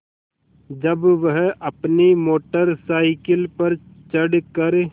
जब वह अपनी मोटर साइकिल पर चढ़ कर